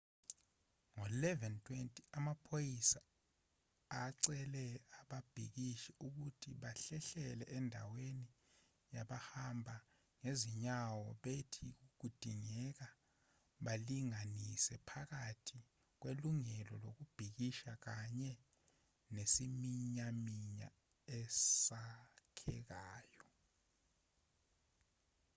ngo-11:20 amaphoyisa acele ababhikishi ukuthi bahlehlele endaweni yabahamba ngezinyawo bethi kudingeka balinganisele phakathi kwelungelo lokubhikisha kanye nesiminyaminya esakhekayo